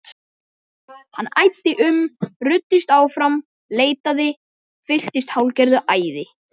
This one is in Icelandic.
Hann æddi um, ruddist áfram, leitaði, fylltist hálfgerðu æði.